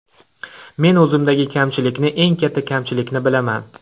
Men o‘zimdagi kamchilikni, eng katta kamchilikni bilaman.